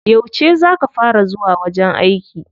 Yauce za ka fara zuwa wajen aiki?